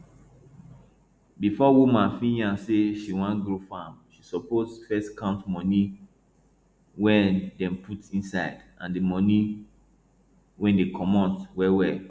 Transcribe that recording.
before woman fit yarn say she wan grow farm she suppose first count money wey dem put inside and and money wey dey comot wellwell